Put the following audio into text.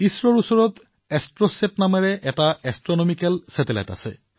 ইছৰৰ এষ্ট্ৰছাত শীৰ্ষক এক এষ্ট্ৰনমিকেল উপগ্ৰহও আছে